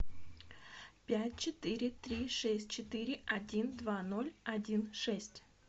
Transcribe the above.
пять четыре три шесть четыре один два ноль один шесть